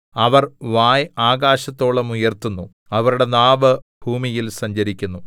അവർ വായ് ആകാശത്തോളം ഉയർത്തുന്നു അവരുടെ നാവ് ഭൂമിയിൽ സഞ്ചരിക്കുന്നു